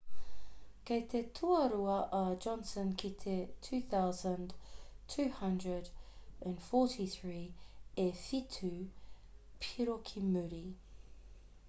kei te tuarua a johnson ki te 2,243 e whitu piro ki muri